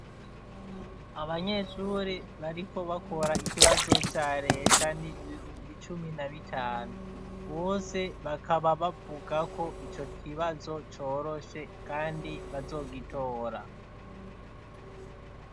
Abanyeshure bariko bakora ikibazo ca leta ni ibihumbi cumi na bitanu, Bose bakaba bavuga ko ico kibazo coroshe kandi bazogitora.